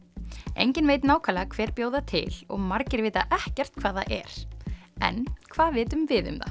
enginn veit nákvæmlega hver bjó það til og margir vita ekkert hvað það er en hvað vitum við um það